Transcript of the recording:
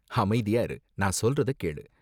அமைதியா இரு, நான் சொல்றத கேளு.